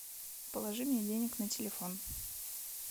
положи мне денег на телефон